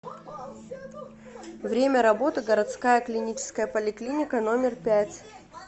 время работы городская клиническая поликлиника номер пять